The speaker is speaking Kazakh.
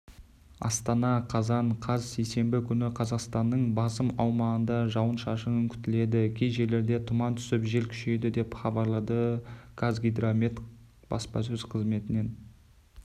астана қазан қаз сейсенбі күні қазақстанның басым аумағында жауын-шашын күтіледі кей жерлерде тұман түсіп жел күшейеді деп хабарлады қазгидромет баспасөз қызметінен